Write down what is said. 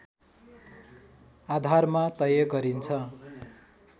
आधारमा तय गरिन्छ